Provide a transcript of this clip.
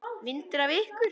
Myndir af ykkur.